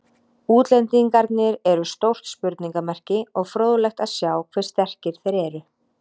Útlendingarnir eru stórt spurningamerki og fróðlegt að sjá hve sterkir þeir eru.